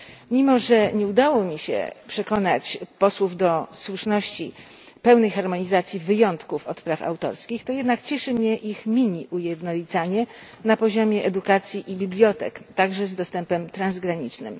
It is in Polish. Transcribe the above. Mimo że nie udało mi się przekonać posłów do słuszności pełnej harmonizacji wyjątków od praw autorskich, to jednak cieszy mnie ich miniujednolicanie na poziomie edukacji i bibliotek, a także postanowienia o dostępie transgranicznym.